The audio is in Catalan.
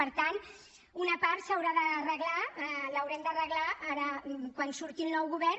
per tant una part s’haurà d’arreglar l’haurem d’arreglar ara quan surti el nou govern